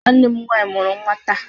Nwanne m nwanyị mụrụ nnwa taa